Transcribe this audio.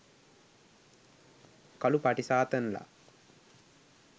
කළු පටි සාතන් ලා.